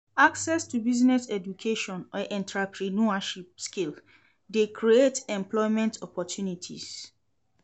Access to business education or entreprenuership skills de create employment opportunities